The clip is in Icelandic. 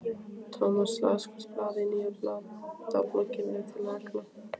Thomas las hvert blað í nýja blaðabögglinum upp til agna.